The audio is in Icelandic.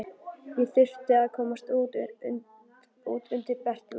Ég þurfti að komast út undir bert loft.